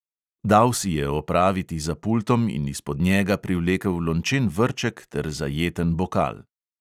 Dal si je opraviti za pultom in izpod njega privlekel lončen vrček ter zajeten bokal.